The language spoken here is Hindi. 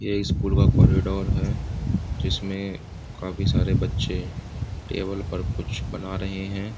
ये स्‍कूल का कॉरीडोर है जिसमें काफी सारे बच्‍चे टेबिल पर कुछ बना रहे हैं।